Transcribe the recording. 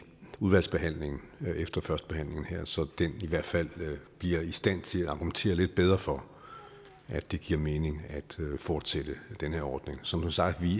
udvalgsbehandlingen efter førstebehandlingen her så den i hvert fald bliver i stand til at argumentere lidt bedre for at det giver mening at fortsætte den her ordning som sagt